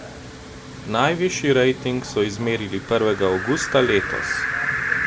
Najvišji rating so izmerili prvega avgusta letos.